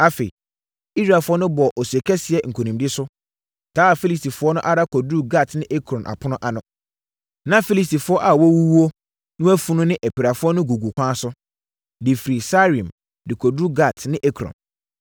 Afei, Israelfoɔ no bɔɔ ose kɛseɛ nkonimdie so, taa Filistifoɔ no ara kɔduruu Gat ne Ekron apono ano. Na Filistifoɔ a wɔawuwuo no afunu ne apirafoɔ no gugu ɛkwan so, de firi Saaraim de kɔduruu Gat ne Ekron.